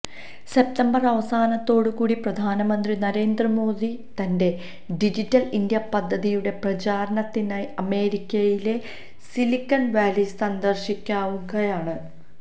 September അവസാനത്തോടു കൂടി പ്രധാനമന്ത്രി നരേന്ദ്രമോദി തന്റെ ഡിജിറ്റല് ഇന്ത്യ പദ്ധതിയുടെ പ്രചാരണത്തിനായി അമേരിക്കയിലെ സിലിക്കണ് വാലി സന്ദര്ശിക്കാനിരിക്കുകയാണ്